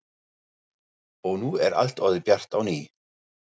Og nú er allt orðið bjart á ný.